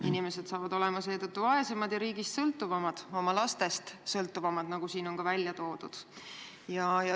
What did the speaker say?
Inimesed saavad seetõttu olema vaesemad ja riigist sõltuvamad, või tegelikult oma lastest sõltuvamad, nagu siin on välja toodud.